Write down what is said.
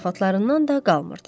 Zarafatlarından da qalmırdı.